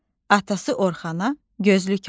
Atası Orxana gözlük aldı.